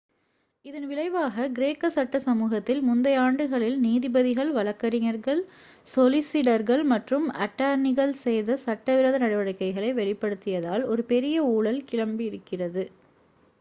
இதன் விளைவாக கிரேக்க சட்ட சமூகத்தில் முந்தைய ஆண்டுகளில் நீதிபதிகள் வழக்கறிஞர்கள் சொலிசிடர்கள் மற்றும் அட்டர்னிகள் செய்த சட்ட விரோத நடவடிக்கைகளை வெளிப்படுத்தியதால் ஒரு பெரிய ஊழல் கிளம்பி இருக்கிறது